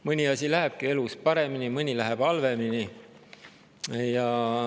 Mõni asi lähebki elus paremini, mõni läheb halvemini.